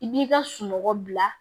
I b'i ka sunɔgɔ bila